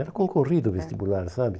Era concorrido o vestibular, sabe?